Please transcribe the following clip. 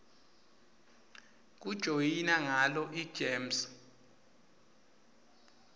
kujoyina ngalo igems